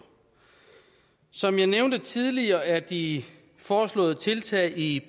som jeg nævnte tidligere er de foreslåede tiltag i